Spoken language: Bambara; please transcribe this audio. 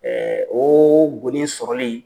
nii boɲɛ sɔrɔli